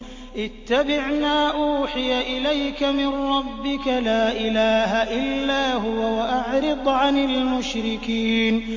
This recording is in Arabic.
اتَّبِعْ مَا أُوحِيَ إِلَيْكَ مِن رَّبِّكَ ۖ لَا إِلَٰهَ إِلَّا هُوَ ۖ وَأَعْرِضْ عَنِ الْمُشْرِكِينَ